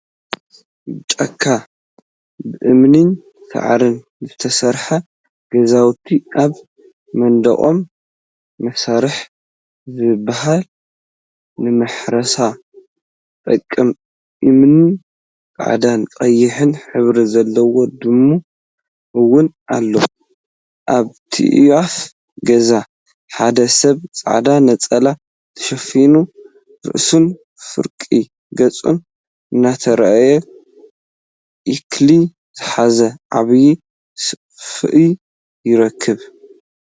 ብጭቃ፣ ብእምኒን ሳዕሪን ዝተሰርሑ ገዛውቲ አብ መንድቆም መሳርሕ ዝበሃል ንመሕረሲ ዝጠቅም ኦምን ፃዕዳን ቀይሕን ሕብሪ ዘለዋ ድሙ እውን አላ፡፡ አብቲአፍ ገዛ ሓደ ሰብ ፃዕዳ ነፀላ ተሸፊኑ ርእሱን ፍርቂ ገፁን እናተርአየ እክሊ ዝሓዘ ዓብይ ሰፍኢ ይርከብ፡፡